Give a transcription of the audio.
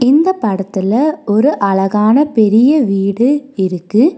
இந்த படத்துல ஒரு அழகான பெரிய வீடு இருக்கு.